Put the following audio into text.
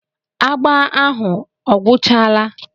Agba ahụ ọ gwụchala?